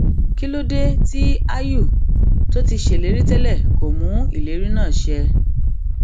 kí ló dé tí áyù tó ti ṣèlérí tẹlẹ kò mú ìlérí náà ṣẹ